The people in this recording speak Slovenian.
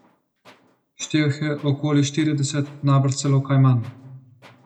Štel jih je okoli štirideset, najbrž celo kaj manj.